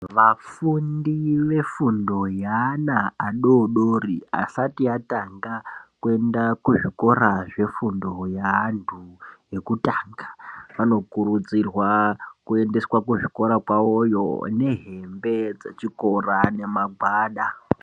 Vafundi vefundo yeana adodori asati atanga kuenda kuzvikora zvefundo yeantu ekutanga vanokurudzirwa kuendeswa kuzvikora kwavoyo nehembe dzechikora nemagwada.